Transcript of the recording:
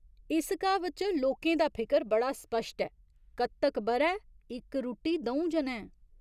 इस क्हावत च लोकें दा फिकर बड़ा स्पश्ट ऐ कत्तक ब'रै, इक रुट्टी द'ऊं जनैं।